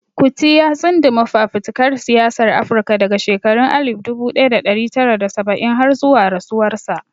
Kuti ya tsunduma fafutukar siyasar Afirka daga shekarun alif dubu daya da dari tara da saba'in har zuwa rasuwarsa.